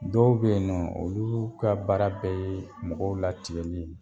Dɔw be yen nɔ oluu ka baara bɛ yee mɔgɔw latigɛli ye.